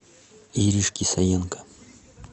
иришке саенко